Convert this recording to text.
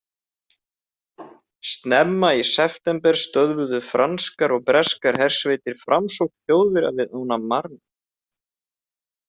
Snemma í september stöðvuðu franskar og breskar hersveitir framsókn Þjóðverja við ána Marne.